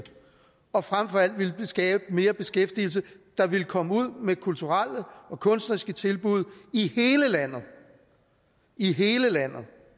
og frem for alt ville skabe mere beskæftigelse der ville komme ud med kulturelle og kunstneriske tilbud i hele landet i hele landet